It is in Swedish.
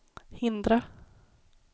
hindra